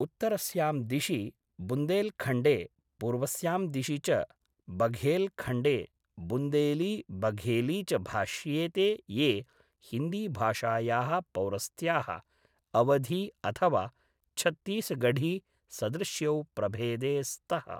उत्तरस्यां दिशि बुन्देलखण्डे, पूर्वस्यां दिशि च बघेलखण्डे, बुन्देली, बघेली च भाष्येते ये हिन्दीभाषायाः पौरस्त्याः, अवधी अथवा छत्तीसगढी सदृश्यौ प्रभेदे स्तः।